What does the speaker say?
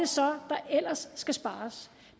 så er der ellers skal spares